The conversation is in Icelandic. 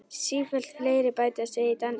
Sífellt fleiri bætast við í dansinn.